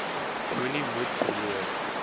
moenie moed verloor